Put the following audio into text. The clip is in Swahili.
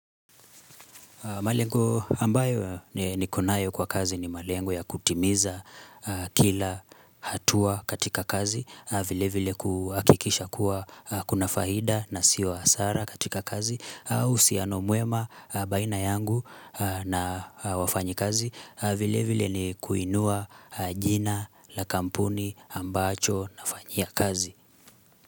Malengo ambayo nikonayo kwa kazi ni malengo ya kutimiza kila hatua katika kazi vile vile kuhakikisha kuwa kuna faida na sio hasara katika kazi au uhusiano mwema baina yangu na wafanyikazi vile vile ni kuinua jina la kampuni ambacho nafanyia kazi.